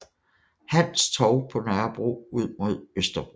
Hans Torv på Nørrebro ud mod Østerbro